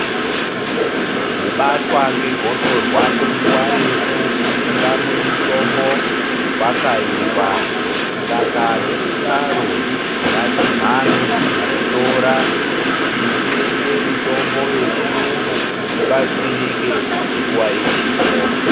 Kubatwa ngegosorwa kwenguwa refu usingamwi mutombo kwakaipa saka nekudaro ngatimhanye kuzvitora titenge mitombo yechiyungu tibatsirike nguwa ichipo.